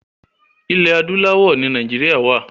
Ilẹ̀ adúláwọ̀ ni Nàìjíríà wa.